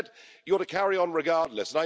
Instead you're to carry on regardless.